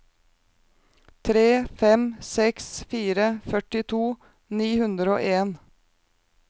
tre fem seks fire førtito ni hundre og en